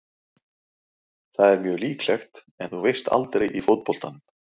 Það er mjög líklegt en þú veist aldrei í fótboltanum.